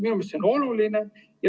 Minu meelest on see oluline.